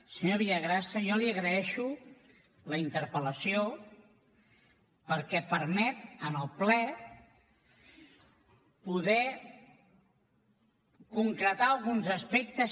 senyor villagrasa jo li agraeixo la interpel·lació perquè permet en el ple poder concretar alguns aspectes